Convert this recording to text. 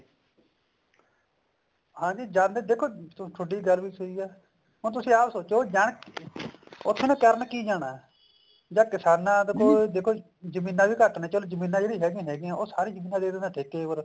ਹਾਂਜੀ ਜਾਂਦੇ ਦੇਖੋ ਥੋਡੀ ਗੱਲ ਵੀ ਸਹੀ ਹੈ ਹੁਣ ਤੁਸੀਂ ਆਪ ਸੋਚੋ ਉੱਥੇ ਉਹਨੇ ਕਰਨ ਕੀ ਜਾਣਾ ਜਾਂ ਕਿਸਾਨਾ ਦੇ ਕੋਲ ਜਮੀਨਾ ਵੀ ਘੱਟ ਨੇ ਜਮੀਨਾ ਜਿਹੜੀਆਂ ਹੈਗੀਆਂ ਉਹ ਹੈਗੀਆਂ ਸਾਰੀ ਜਮੀਨਾ ਦੇ ਦਿੰਦੇ ਨੇ ਠੇਕੇ ਪਰ